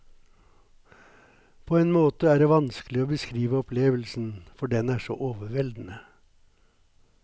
På en måte er det vanskelig å beskrive opplevelsen, for den er så overveldende.